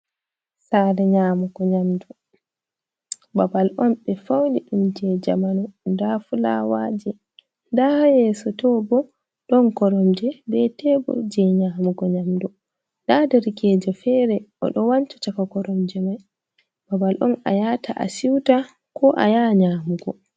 Saare nyaamugo nyamdu, babal on ɓe fawni ɗum je jamanu, ndaa fulaawaaji, ndaa ha yeeso too bo ɗon koromje, be tebul je nyaamugo nyamdu. Ndaa derkeejo feere o ɗo wancha chaka koromje mai, babal on a yahata a siiwta, ko a yaha nyaamugo.